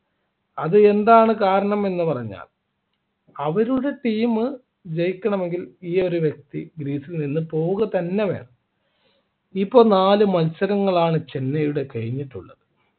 അതെന്താണ് കാരണം എന്ന് പറഞ്ഞാൽ അവരുടെ team ജയിക്കണമെങ്കിൽ ഈ ഒരു വ്യക്തി crease ൽ നിന്ന് പോവുക തന്നെ വേണം ഇപ്പോൾ നാല് മത്സരങ്ങളാണ് ചെന്നൈയുടെ കഴിഞ്ഞിട്ടുള്ളത്